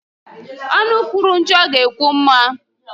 Ọnụ kwuru njọ ga-ekwu mma